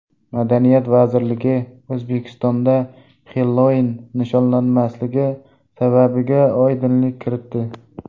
Madaniyat vazirligi O‘zbekistonda Xellouin nishonlanmasligi sababiga oydinlik kiritdi.